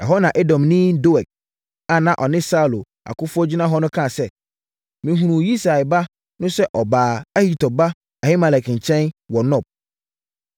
Ɛhɔ na Edomni Doeg a na ɔne Saulo akofoɔ gyina hɔ no kaa sɛ, “Mehunuu Yisai ba no sɛ ɔbaa Ahitub ba Ahimelek nkyɛn wɔ Nob.